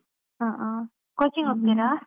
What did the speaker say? ಹಾ ಹಾ, coaching ಹೋಗ್ತೀರಾ?